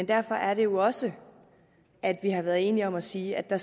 derfor er det jo også at vi har været enige om at sige at der